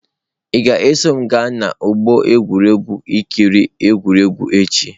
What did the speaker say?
Ị ga-eso m gaa n'ọgbọ egwuregwu ị kiri egwuregwu echi?